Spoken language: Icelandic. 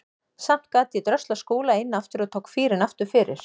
Samt gat ég dröslað Skúla inn aftur og tók fýrinn aftur fyrir.